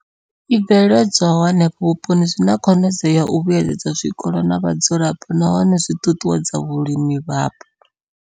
I bveledzwaho henefho vhuponi zwi na khonadzeo ya u vhuedza zwikolo na vhadzulapo nahone zwi ṱuṱuwedza vhulimi hapo.